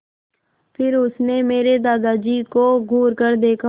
फिर उसने मेरे दादाजी को घूरकर देखा